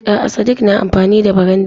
A'a sadik na amfani da barandami.